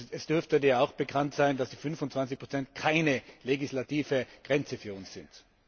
Es dürfte dir auch bekannt sein, dass die 25 keine legislative Grenze für uns sind.